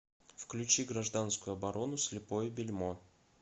включи гражданскую оборону слепое бельмо